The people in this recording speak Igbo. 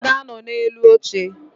Ha ga-anọ na-elu oche